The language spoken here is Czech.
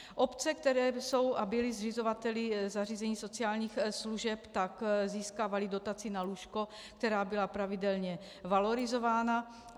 Obce, které jsou a byly zřizovateli zařízení sociálních služeb, tak získávaly dotaci na lůžko, která byla pravidelně valorizována.